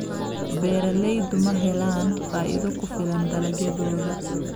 Beeraleydu ma helaan faa'iido ku filan dalagyadooda.